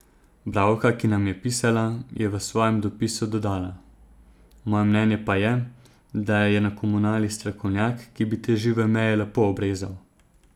Bralka, ki nam je pisala, je v svojem dopisu dodala: "Moje mnenje pa je, da je na komunali strokovnjak, ki bi te žive meje lepo obrezal.